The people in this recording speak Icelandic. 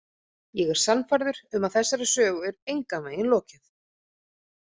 Ég er sannfærður um að þessari sögu er engan veginn lokið.